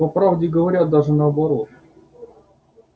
по правде говоря даже наоборот